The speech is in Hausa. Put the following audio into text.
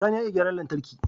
Sani ya iya gyaran lantarki